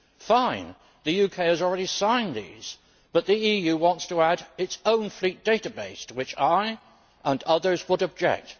Fine the UK has already signed these but the EU wants to add its own fleet database, to which I and others would object.